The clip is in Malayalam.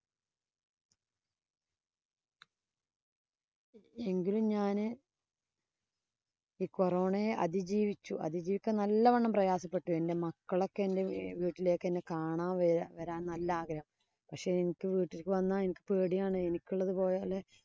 എങ്കിലും ഞാന് ഈ corona യെ അതിജീവിച്ചു. അതിജീവിക്കാന്‍ നല്ലവണ്ണം പ്രയാസപ്പെട്ടു. എന്‍റെ മക്കളൊക്കെ എന്‍റെ വീട്ടിലേക്കു കാണാന്‍ വരാന്‍ നല്ല ആഗ്രഹം. പക്ഷേ, എനിക്ക് വീട്ടിലേക്ക് വന്നാല്‍ എനിക്ക് പേടിയാണ്. എനിക്കുള്ളത് പോലെ